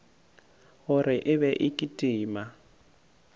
gore e be e kitima